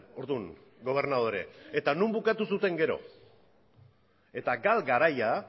orduan gobernadore eta non bukatu zuten gero eta gal garaia